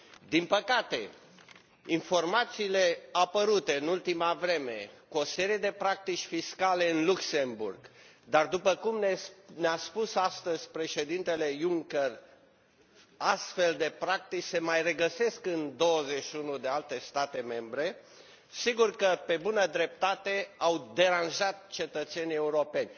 Din păcate, informațiile apărute în ultima vreme, cu o serie de practici fiscale în Luxemburg, dar după cum ne a spus astăzi Președintele Juncker, astfel de practici se mai regăsesc în 21 de alte state membre, sigur că pe bună dreptate au deranjat cetățenii europeni.